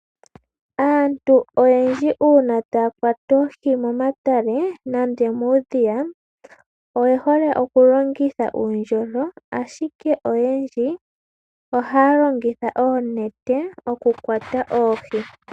Aantu oyendji uuna taa kwata oohi momatale nenge muudhiya, oye hole okulongitha uundjolo, ashike oyendji ohaa longitha oonete okukwata oohi.